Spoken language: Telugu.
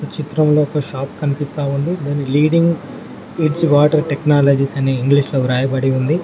చిత్రంలో ఒక షాప్ కనిపిస్తా ఉంది లీడింగ్ ఎడ్జ్ వాటర్ టెక్నాలజీస్ అని ఇంగ్లీష్ లో రాయబడి ఉంది.